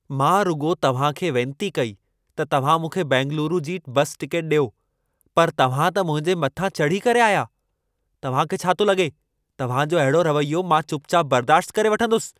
मां रुॻो तव्हां खे वेंती कई त तव्हां मूंखे बेंगलूरू जी बस टिकेट ॾियो। पर तव्हां त मुंहिंजे मथां चड़त करे आया। तां खे छा थो लॻे, तव्हां जो अहिड़ो रवैयो मां चुपचाप बर्दाश्त करे वठंदुसि?